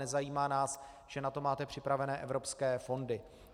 Nezajímá nás, že na to máte připravené evropské fondy.